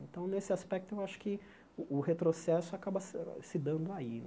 Então, nesse aspecto, eu acho que o o retrocesso acaba se se dando aí.